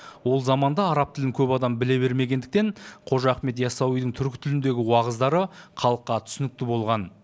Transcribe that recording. ол заманда араб тілін көп адам біле бермегендіктен қожа ахмет ясауидің түркі тіліндегі уағыздары халыққа түсінікті болған